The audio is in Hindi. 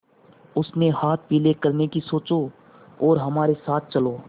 उसके हाथ पीले करने की सोचो और हमारे साथ चलो